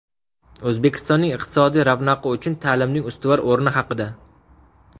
O‘zbekistonning iqtisodiy ravnaqi uchun ta’limning ustuvor o‘rni haqida.